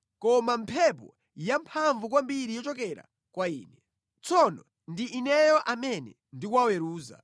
koma mphepo yamphamvu kwambiri yochokera kwa Ine. Tsono ndi Ineyo amene ndikuwaweruza.”